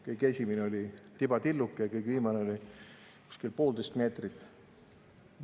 Kõige esimene oli tibatilluke ja kõige viimane oli umbes poolteist meetrit.